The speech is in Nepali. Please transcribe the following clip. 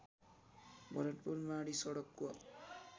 भरतपुर माडी सडकको